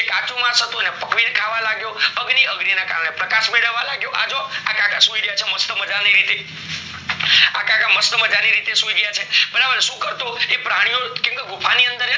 કાચું માંસ હતું એને પકવીને ખાવા લાગ્યો, અગ્નિ ના કારણે પ્રકાશ મેળવા લાગ્યો આજો આખે અખા સુઈ રહયા છે મસ્ત રીતે આખે અખા મસ્ત રીતે સુઈ ગયા છે બરાબર સુ કરતો પ્રાણી ઓ કારણ કે ગુફા ની અંદર કાચું માસ હતું